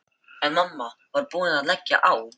En mamma var búin að leggja á.